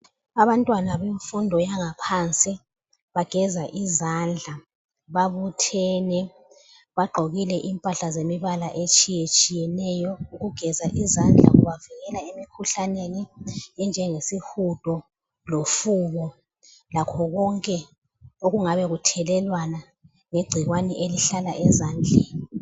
Abantwana bemfundo yangaphansi bageza izandla ,babuthene, bagqokile impahla zemibala etshiyetshiyeneyo . Ukugeza izandla kubavikela emkhuhlaneni enjengesihudo lofuba lakho konke okungabe kuthelelwana ngegcikwane elihlala ezandleni.